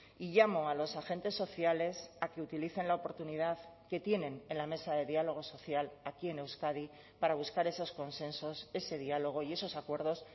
y llamo a los agentes sociales a que utilicen la oportunidad que tienen en la mesa de diálogo social aquí en euskadi para buscar esos consensos ese diálogo y esos acuerdos